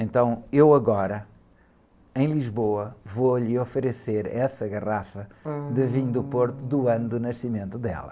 Então, eu agora, em Lisboa, vou-lhe oferecer essa garrafa...h...e vinho do Porto do ano do nascimento dela.